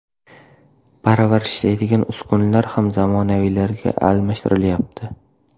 Parvarishlaydigan uskunalar ham zamonaviylariga almashtirilyapti.